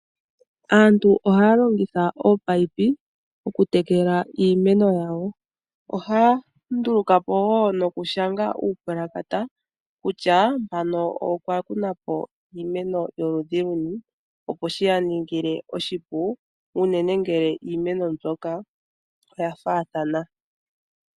Aantu ohaya longitha oopaipi okutekela iimeno yawo ohaya ndulako po woo nokushanga uupalakata kusha mpano okwa kunapo iimeno yoludhi luni opo shiyaningile oshipu unene ngele iimeno mbyoka oya faathana.